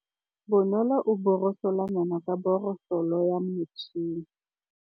Bonolô o borosola meno ka borosolo ya motšhine.